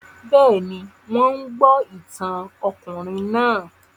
Bẹ́ẹ̀ ni, wọ́n ń gbọ́ ìtàn ọkùnrin náà